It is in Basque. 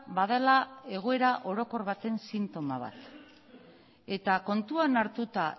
badela egoera orokor baten sintoma bat eta kontuan hartuta